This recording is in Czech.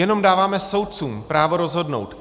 Jenom dáváme soudcům právo rozhodnout.